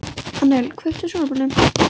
Annel, kveiktu á sjónvarpinu.